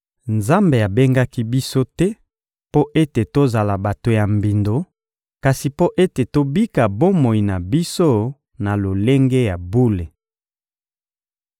Nzambe abengaki biso te mpo ete tozala bato ya mbindo, kasi mpo ete tobika bomoi na biso na lolenge ya bule.